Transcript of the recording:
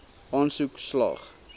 aansoek slaag